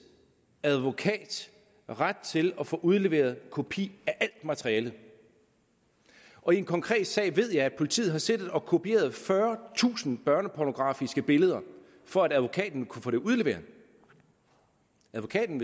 advokat ret til at få udleveret en kopi af alt materialet og i en konkret sag ved jeg at politiet har siddet og kopieret fyrretusind børnepornografiske billeder for at advokaten kunne få det udleveret advokaten